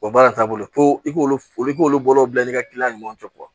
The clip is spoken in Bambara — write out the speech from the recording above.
O baara taabolo i k'olu k'olu bolo bila i ka kiliyanw cɛ